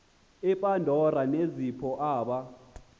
upandora nezipho aba